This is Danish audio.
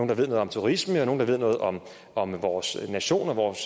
der ved noget om turisme og nogle der ved noget om om vores nation og vores